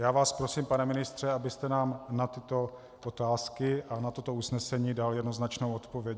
Já vás prosím, pane ministře, abyste nám na tyto otázky a na toto usnesení dal jednoznačnou odpověď.